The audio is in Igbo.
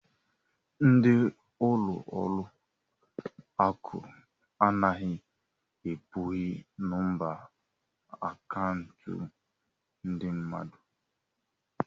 Ndị ọrụ ụlọ akụ anaghị ekpughe nọmba akaụntụ ndị mmadụ.